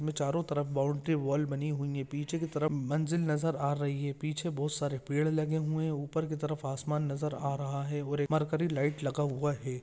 इनमे चारों तरफ बाउंड्री वॉल बनी हुई है पीछे की तरफ मंजिल नजर आ रही है पीछे बहुत सारे पेड़ लगे हुए है ऊपर की तरफ आसमान नजर आ रहा है और मरकरी लाइट लगा हुआ है।